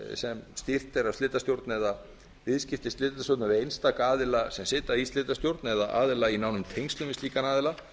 sem stýrt er af slitastjórn eða viðskipti slitastjórnar við einstaka aðila sem sitja í slitastjórn eða aðila í nánum tengslum við slíkan aðila